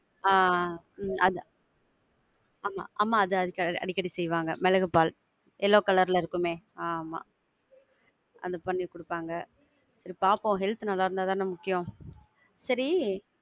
ஆஹ் உம் அது ஆமா அம்மா அத அடிக்கடி செய்வாங்க மிளகு பால். yellow colour ல இருக்குமே, ஆமா. அத பண்ணி குடுப்பாங்க. சரி பாப்போம். health நல்லா இருந்தா தான முக்கியம். சரி~